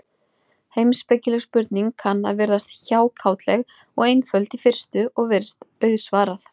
Heimspekileg spurning kann að virðast hjákátleg og einföld í fyrstu, og virst auðsvarað.